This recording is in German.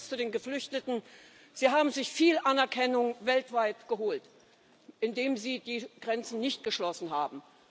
Und zum Schluss zu den Geflüchteten Sie haben sich viel Anerkennung weltweit geholt, indem Sie die Grenzen nicht geschlossen haben.